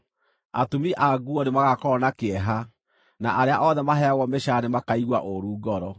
Atumi a nguo nĩmagakorwo na kĩeha, na arĩa othe maheagwo mĩcaara nĩmakaigua ũũru ngoro.